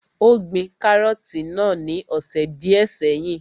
Ó gbin kárọ̀tì náà ní ọ̀sẹ̀ díẹ́ sẹ́yìn.